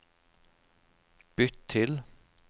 bytt til